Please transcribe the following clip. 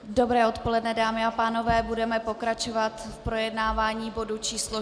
Dobré odpoledne, dámy a pánové, budeme pokračovat v projednávání bodu číslo